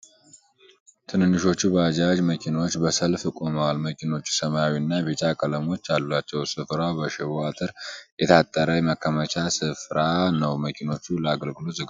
ትንንሾቹ ባጃጅ መኪናዎች በሰልፍ ቆመዋል። መኪኖቹ ሰማያዊ እና ቢጫ ቀለሞች አላቸው። ስፍራው በሽቦ አጥር የታጠረ የማከማቻ ስፍራ ነው። መኪኖቹ ለአገልግሎት ዝግጁ ናቸው።